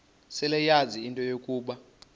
seleyazi into yokuba